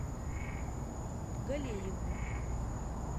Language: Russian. галееву